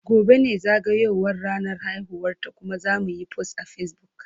Gobe ​​ne zagayowar ranar haihuwarta kuma zamuyi post a Facebook.